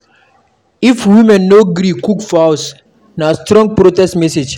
If women no gree cook for house, na strong protest message.